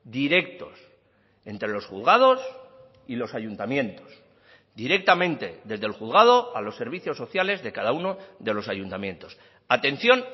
directos entre los juzgados y los ayuntamientos directamente desde el juzgado a los servicios sociales de cada uno de los ayuntamientos atención